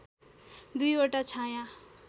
दुईवटा छाँया